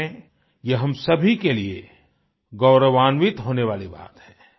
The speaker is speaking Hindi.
सच में ये हम सभी के लिए गौरवान्वित होने वाली बात है